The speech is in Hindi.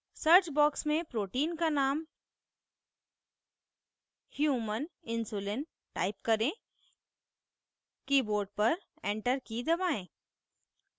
search box में protein का name human insulin type करें keyboard पर enter की दबाएं